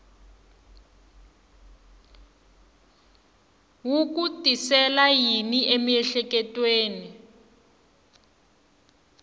wu ku tisela yini emiehleketweni